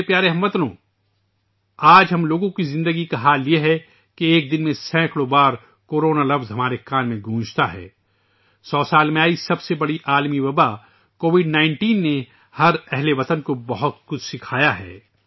میرے پیارے ہم وطنو ، آج ہم لوگوں کی زندگی کی حالت یہ ہے کہ ایک دن میں سینکڑوں بار لفظ کورونا ہمارے کانوں میں گونجتا ہے ، سو سالوں میں آئی سب سے بڑی عالمی وبا ، کووڈ 19 نے ہر ہم وطن کو بہت کچھ سکھایا ہے